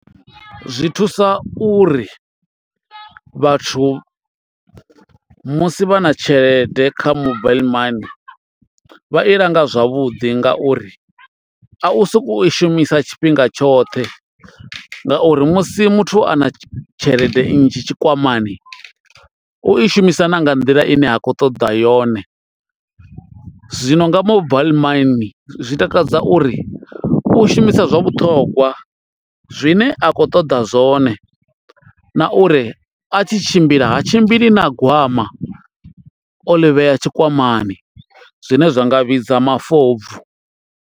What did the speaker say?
Zwi thusa uri vhathu musi vha na tshelede kha mobile money vha i langa zwavhuḓi ngauri a u sokou i shumisa tshifhinga tshoṱhe ngauri musi muthu a na tshelede nnzhi tshikwamani u shumisa na nga nḓila ine ha kho ṱoḓa yone. Zwino nga mobile money zwi takadza uri u shumisa zwa vhuṱhongwa zwine a khou ṱoḓa zwone na uri a tshi tshimbila ha tshimbili na gwama o ḽi vhea tshikwamani zwine zwa nga vhidza mafobvu.